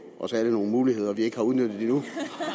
os alle nogle muligheder vi ikke har udnyttet endnu